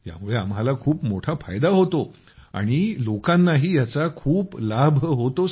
यामुळे आम्हाला खूप मोठा फायदा होतो आणि लोकांनाही याचा खूप लाभ होतो